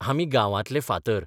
आमी गांवांतले फातर.